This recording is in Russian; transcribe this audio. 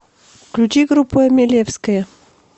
включи группу эмелевская